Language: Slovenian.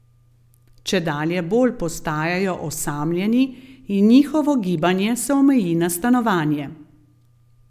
Čedalje bolj postajajo osamljeni in njihovo gibanje se omeji na stanovanje.